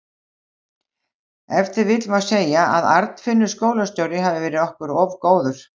Ef til vill má segja að Arnfinnur skólastjóri hafi verið okkur of góður.